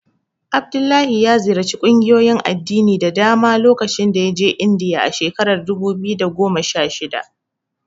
Abdullahi ya ƙungiyoyin addini da dama lokacin da ya je Indiya a shekarar dubu biyu da goma sha shida.